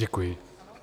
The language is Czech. Děkuji.